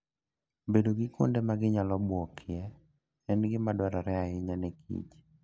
Bedo gi kuonde ma ginyalo buokie en gima dwarore ahinya ne kich.